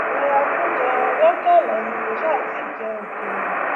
lọya kúnjẹ ni kò sáà ti jẹ òkèlè